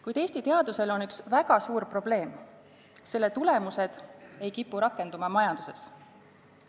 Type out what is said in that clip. Kuid Eesti teadusel on üks väga suur probleem: selle tulemused ei kipu rakenduma majanduses.